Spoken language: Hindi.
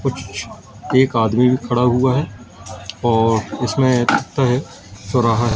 कुछ एक आदमी भी खड़ा हुआ है और इसमें लगता है चौराहा है।